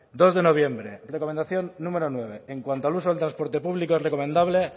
dos de noviembre recomendación número nueve en cuanto al uso del transporte público es recomendable